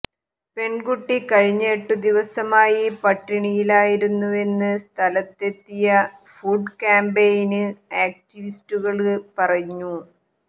പെണ്കുട്ടി കഴിഞ്ഞ എട്ടു ദിവസമായി പട്ടിണിയിലായിരുന്നുവെന്ന് സ്ഥലത്തെത്തിയ ഫുഡ് ക്യാംപയിന് ആക്ടിവിസ്റ്റുകള് പറഞ്ഞു